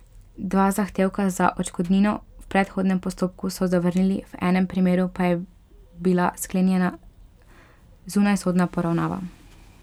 Dva zahtevka za odškodnino v predhodnem postopku so zavrnili, v enem primeru pa je bila sklenjena zunajsodna poravnava.